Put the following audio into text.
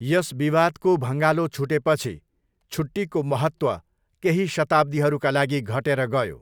यस विवादको भँगालो छुटेपछि, छुट्टीको महत्त्व केही शताब्दीहरूका लागि घटेर गयो।